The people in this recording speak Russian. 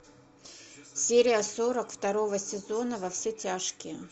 серия сорок второго сезона во все тяжкие